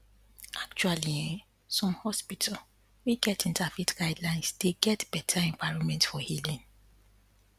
acttually ehnn some hospital wey get inter faith guildelines dey get better environment for healing